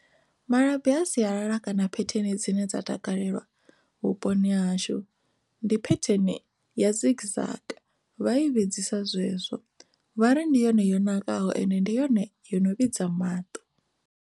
Malabi a sialala kana phetheni dzine dza takalelwa vhuponi hashu ndi petheni ya zigzag vha i vhudzisa zwezwo vha ri ndi yone yo nakaho ende ndi yone yo no vhidza maṱo.